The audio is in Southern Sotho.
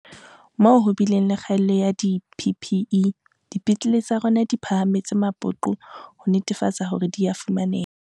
Moo ho bileng le kgaello ya di-PPE, dipetlele tsa rona di phahametse mapoqo ho netefatsa hore di a fumaneha.